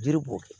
Jiri b'o kɛ